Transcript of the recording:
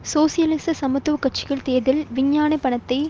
சோசியலிச சமத்துவ கட்சியின் தேர்தல் விஞ்ஞாபனத்தை